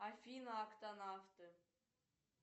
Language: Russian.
афина актонавты